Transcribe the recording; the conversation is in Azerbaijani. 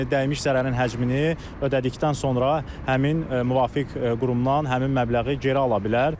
Yəni dəymiş zərərin həcmini ödədikdən sonra həmin müvafiq qurumdan həmin məbləği geri ala bilər.